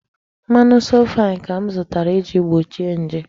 mmanu 'So fine' ka m zụtara, iji gbochie nje.